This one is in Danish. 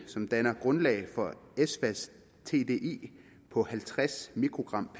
som danner grundlag for efsas tdi på halvtreds mikrogramkg